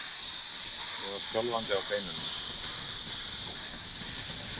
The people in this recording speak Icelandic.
Ég var skjálfandi á beinunum.